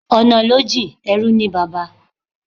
Ọ̀nà ló jìn-in, ẹrú ní bàbá.